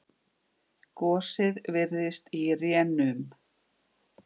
Gosið virðist í rénum.